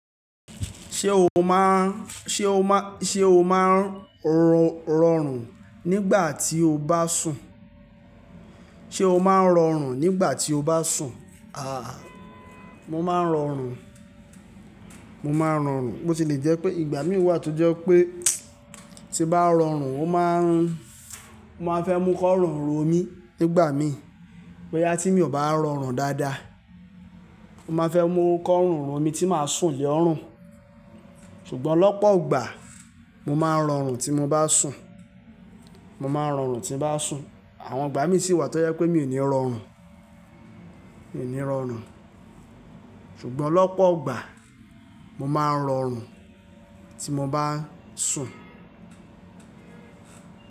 Ṣé o máa ń, ṣe o máa ń, ṣe o máa ń rọrùn nígbà tí o bá sùn? Ṣé o máa ń rọrùn nígbà tí o bá sùn? Àhà, mo máa ń rọrùn, mo máa ń rọrùn. Bó ti lè jẹ́ pé ìgbà mí wà tó jẹ́ pé tí bá rọrùn, ó máa ń, ó máa fẹ́ mú kọ́rùn ro mí nígbà mí. Bóyá tí mi ò bá rọrùn dáadáa. Ó máa fẹ́ mú kọ́rùn ro mí tí màá sùn le orùn. Ṣùgbọ́n ọ̀pọ̀ ìgbà mo máa ń rọrùn tí mo bá sùn. Mo máa ń rọrùn tí mo bá sùn. Àwọn ìgbà mí sì wà tó jẹ́ pé mi ò ní rọrùn. Mi ò ní rọrùn. Ṣùgbọ́n lọ̀pọ̀ ìgbà mo máa ń rọrùn tí mo bá sùn.